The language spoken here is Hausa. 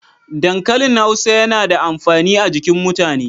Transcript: Dankalin Hausa yana da amfani a jikin mutane.